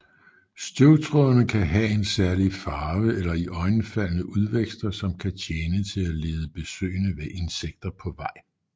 Støvtrådene kan have en særlig farve eller iøjnefaldende udvækster som kan tjene til at lede besøgende insekter på vej